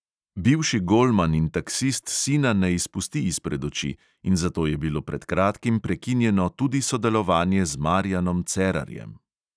Bivši golman in taksist sina ne izpusti izpred oči in zato je bilo pred kratkim prekinjeno tudi sodelovanje z marijanom cerarjem.